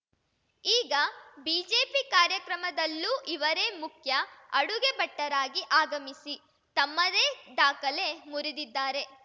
ಈಗ ಬಿಜೆಪಿ ಕಾರ್ಯಕ್ರಮದಲ್ಲೂ ಇವರೇ ಮುಖ್ಯ ಅಡುಗೆ ಭಟ್ಟರಾಗಿ ಆಗಮಿಸಿ ತಮ್ಮದೇ ದಾಖಲೆ ಮುರಿದಿದ್ದಾರೆ